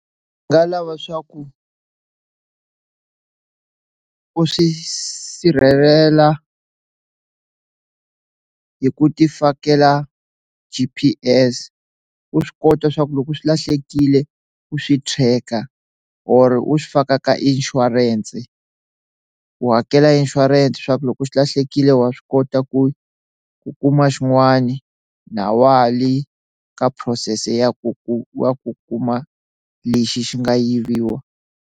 Ndzi nga lava swa ku u swi sirhelela hi ku ti fakela G_P_S u swi kota swa ku loko swi lahlekile u swi check-a or u swi faka ka insurance ku hakela insurance swaku loko xi lahlekile wa swi kota ku ku kuma xin'wani na wale ka phurosese ya ku ku wa ku kuma lexi xi nga yiviwa.